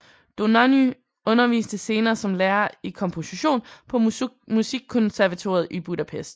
Dohnányi underviste senere som lærer i komposition på Musikkonservatoriet i Budapest